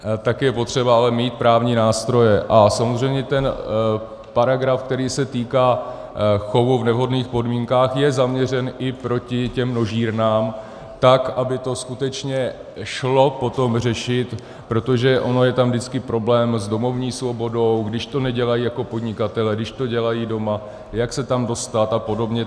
Tak je potřeba ale mít právní nástroje, a samozřejmě ten paragraf, který se týká chovu v nevhodných podmínkách, je zaměřen i proti těm množírnám, tak aby to skutečně šlo potom řešit, protože on je tam vždycky problém s domovní svobodou, když to nedělají jako podnikatelé, když to dělají doma, jak se tam dostat a podobně.